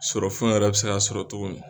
Sɔrɔfɛn yɛrɛ bɛ se kaa sɔrɔ cogo min.